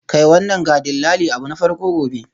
Kai wannan ga dillali abu na farko gobe.